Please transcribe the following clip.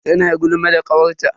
Tana gulma da kawarta.